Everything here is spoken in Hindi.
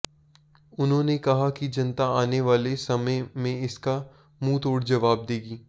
उन्होंने कहा कि जनता आने वाले समय में इसका मुंहतोड़ जवाब देगी